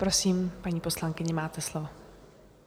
Prosím, paní poslankyně, máte slovo.